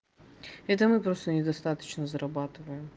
это мы просто недостаточно зарабатываем